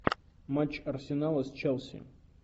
матч арсенала с челси